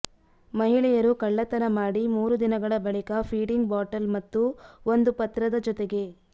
ಮಹಿಳೆಯರು ಕಳ್ಳತನ ಮಾಡಿ ಮೂರು ದಿನಗಳ ಬಳಿಕ ಫೀಡಿಂಗ್ ಬಾಟಲ್ ಮತ್ತು ಒಂದು ಪತ್ರದ ಜೊತೆಗೆ